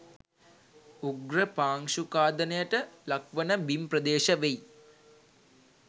උග්‍ර පාංශු ඛාදනයට ලක්වන බිම් ප්‍රදේශ වෙයි